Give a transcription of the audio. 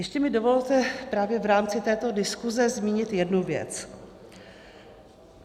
Ještě mi dovolte právě v rámci této diskuze zmínit jednu věc.